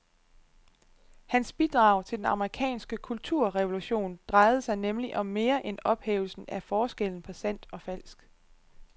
Hans bidrag til den amerikanske kulturrevolution drejede sig nemlig om mere end ophævelsen af forskellen på sandt og falsk.